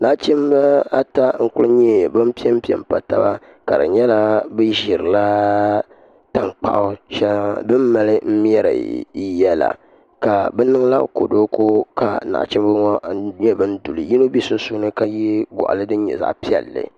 Nachimba ata n-kuli nyɛ ban pe m-pe m-pa taba ka di nyɛla bɛ ʒirila taŋkpaɣu shɛli bɛ ni mali mɛri yiya la ka bɛ niŋla kɔdoliko ka naɣichimba ŋɔ nyɛ ban du li yino be sunsuuni ka ye ɡɔɣili din nyɛ zaɣ' piɛlli